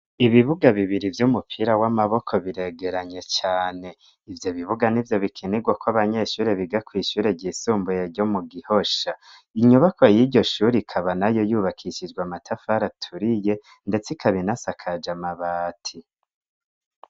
Ibibuga bibiri vyo umupira w'amaboko biregeranye cane ivyo bibuga ni vyo bikinirwa ko abanyeshuri biga kw'ishure ryisumbuye ryo mu gihosha inyubako y'iryo shuri ikaba na yo yubakishijwe amatafari aturiye, ndetse ika binasakaje amabati.